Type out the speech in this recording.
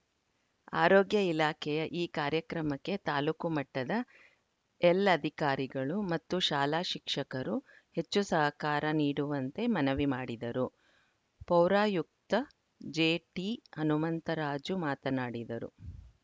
ಆರೋಗ್ಯ ಇಲಾಖೆಯ ಈ ಕಾರ್ಯಕ್ರಮಕ್ಕೆ ತಾಲೂಕು ಮಟ್ಟದ ಎಲ್ಲ ಅಧಿಕಾರಿಗಳು ಮತ್ತು ಶಾಲಾ ಶಿಕ್ಷಕರು ಹೆಚ್ಚು ಸಹಕಾರ ನೀಡುವಂತೆ ಮನವಿ ಮಾಡಿದರು ಪೌರಾಯುಕ್ತ ಜೆಟಿಹನುಮಂತರಾಜು ಮಾತನಾಡಿದರು